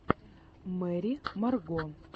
мэрри марго